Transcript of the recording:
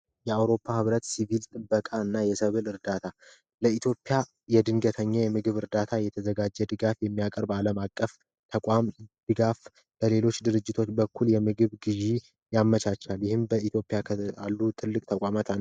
የአዉሮፓ ሕብረት ሲቪል ጥበቃ እና የሰብል በኢትዮጵያ የድንገተኛ የምግብ እርዳታ የተዘጋጀ ድጋፍ የሚያቀርብ አለም አቀፍ ተቋም ድጋፍ በሌሎች ድርጅቶች በኩል የምግብ ግዥ ያመቻቻል ። ይህም በኢትዮጵያ ካሉ ትልቅ ተቋማት አንዱ ነዉ።